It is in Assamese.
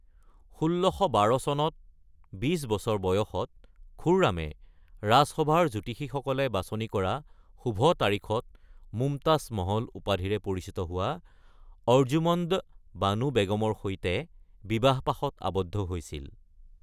১৬১২ চনত ২০ বছৰ বয়সত খুৰ্ৰামে ৰাজসভাৰ জ্যোতিষীসকলে বাছনি কৰা শুভ তাৰিখত মুমতাজ মহল উপাধিৰে পৰিচিত হোৱা অৰ্জুমন্দ বানু বেগমৰ সৈতে বিবাহপাশত আবদ্ধ হৈছিল।